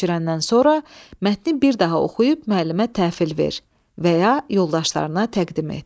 Köçürəndən sonra mətni bir daha oxuyub müəllimə təhvil ver və ya yoldaşlarına təqdim et.